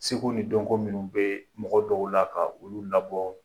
Seko ni donko minnu bɛ mɔgɔ dɔw la ka olu labɔ